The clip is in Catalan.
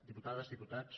diputades diputats